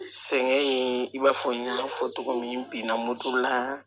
Sɛgɛn in i b'a fɔ n y'a fɔ cogo min n binna moto la